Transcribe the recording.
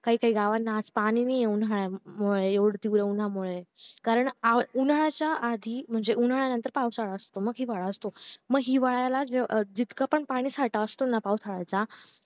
काही काही गावांना आज पाणी नाही उंन्हा मुळे एवढं तिकडे उंन्हा मुळे कारण उन्हाळ्याच्या आधीम्हणजे उंन्हाळ्यानंतर पावसाळा असतो मग हिवाळा असतो मग हिवाळ्या जितका पण पाणीसाठा असतो ना पावसाळ्याचा